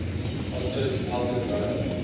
otto's elder brother